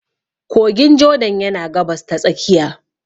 Kogin Jordan yana Gabas ta Tsakiya.